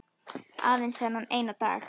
Aðeins þennan eina dag!